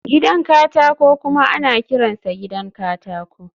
gidan katako kuma ana kiransa gidan katako